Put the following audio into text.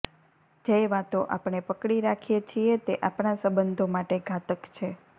જે વાતો આપણે પકડી રાખીએ છીએ તે આપણા સંબંધો માટે ઘાતક છે